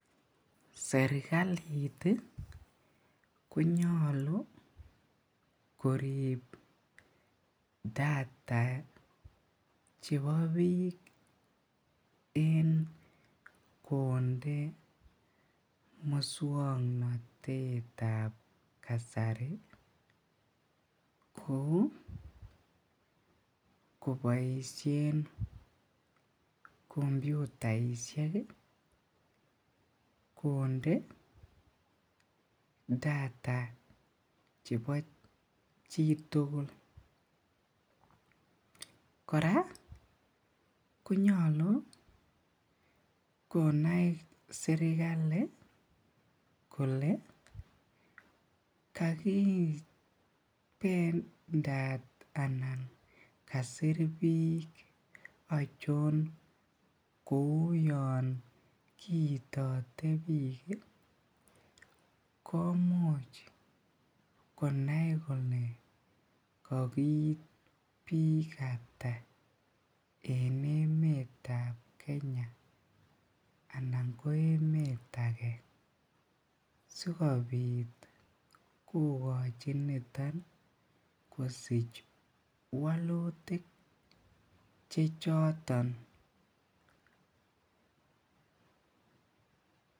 Serkalit ih konyalu korib data che bo bik ih en konde musuaknotetab kasari kouu kobaishien kombutaisiek kouu konde data chebo chitugul kora ih konyalu konai serkali kole kakibendat anan kosir bik achon kouu Yoon kiite bik ih komuch konai kole kakoit bik ata en emeet nebo Kenya anan en emeet age sigoksachi kosich walutik che choton k